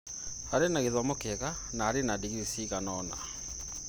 arĩ na gĩthomo kĩega na arĩ na digirii cigana ũna